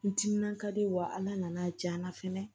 N timinan ka di wa ala nana diya n na fɛnɛ